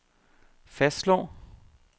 fastslår